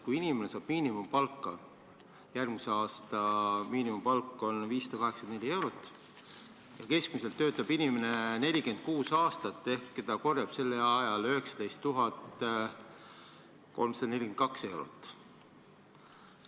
Kui inimene saab miinimumpalka – järgmise aasta miinimumpalk on 584 eurot – ja keskmiselt töötab inimene 46 aastat, siis ta korjab sellel ajal 19 342 eurot.